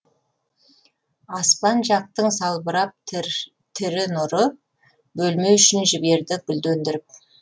аспан жақтың салбырап тірі нұры бөлме ішін жіберді гүлдендіріп